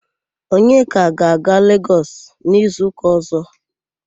Onyeka ga-aga Legọs n'izuụka ọ̀zọ́.